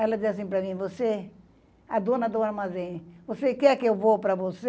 Ela disse assim para mim, você, a dona do armazém, você quer que eu vou para você?